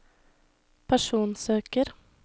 personsøker